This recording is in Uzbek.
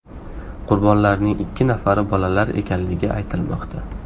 Qurbonlarning ikki nafari bolalar ekanligi aytilmoqda.